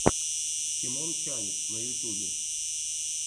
тимон чавес на ютубе